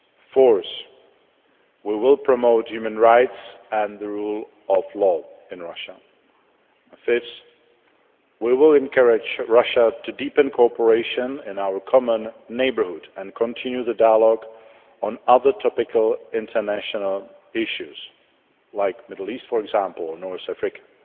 Fourth we will promote human rights and the rule of law in Russia, and Fifth, we will encourage Russia to deepen cooperation in our common neighbourhood and continue the dialogue on other topical international issues like the Middle East, for example, or North Africa.